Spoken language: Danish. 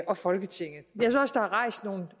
og folketinget